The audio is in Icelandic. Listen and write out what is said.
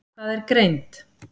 Hvað er greind?